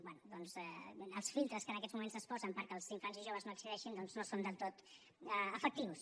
bé doncs els filtres que en aquests moments es posen perquè els infants i joves no hi accedeixin no són del tot efectius